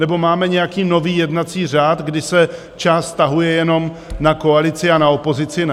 Nebo máme nějaký nový jednací řád, kdy se část vztahuje jenom na koalici, a na opozici ne?